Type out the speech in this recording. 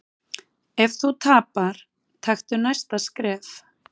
Ef þú tapar, taktu næsta skref.